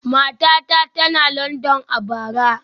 Matata tana Landan a bara